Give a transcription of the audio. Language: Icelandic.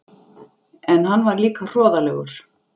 En hann var líka hroðalegur.